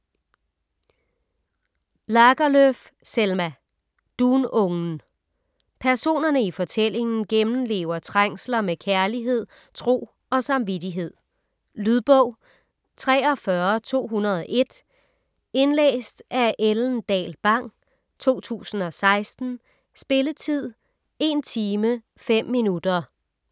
Lagerlöf, Selma: Dunungen Personerne i fortællingen gennemlever trængsler med kærlighed, tro og samvittighed. Lydbog 43201 Indlæst af Ellen Dahl Bang, 2016. Spilletid: 1 timer, 5 minutter.